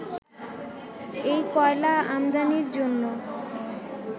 এই কয়লা আমদানির জন্য